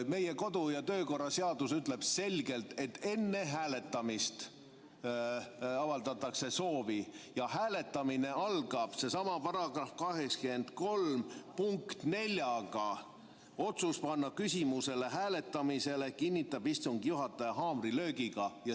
Meie kodu‑ ja töökorra seadus ütleb selgelt, et enne hääletamist avaldatakse soovi ja hääletamine algab nii : otsust panna küsimus hääletamisele kinnitab istungi juhataja haamrilöögiga.